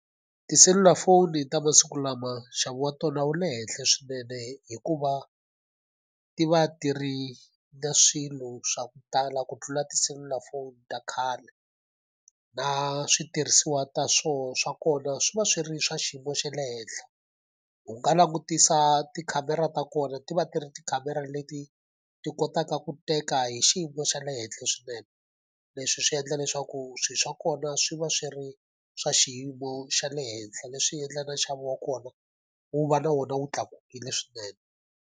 Tiselulafoni ta masiku lama nxavo wa tona wu le henhla swinene hikuva ti va ti ri na swilo swa ku tala ku tlula tiselulafoni ta khale. Na switirhisiwa ta swa kona swi va swi ri swa xiyimo xa le henhla. U nga langutisa tikhamera ta kona ti va ti ri tikhamera leti ti kotaka ku teka hi xiyimo xa le henhla swinene, leswi swi endla leswaku swilo swa kona swi va swi ri swa xiyimo xa le henhla. Leswi endlaka nxavo wa kona wu va na wona wu tlakukile swinene.